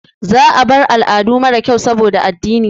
Za a bar al'adu mara kyau saboda addini.